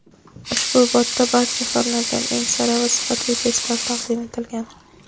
Ushbu botda barcha fanlardan eng sara va sifatli testlar taqdim etilgan.